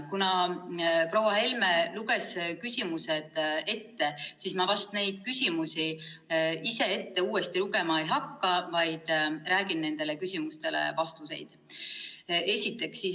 Kuna proua Helme luges küsimused ette, siis ma vast neidsamu küsimusi ise uuesti ette lugema ei hakka, vaid räägin nendele küsimustele vastuseks.